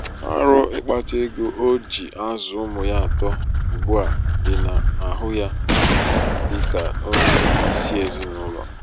ọrụ ịkpata ego o um ji azụ ụmụ ya atọ um ugbu a dị n'ahụ ya. dị um ka onye isi ezinaụlọ.